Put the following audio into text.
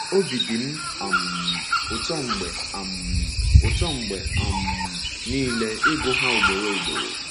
Obi dị m um ụtọ mgbe um ụtọ mgbe um niile ịgụ ha ugboro ugboro!